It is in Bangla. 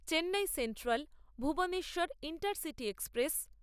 Chennai Central Bhubaneswar Intercity express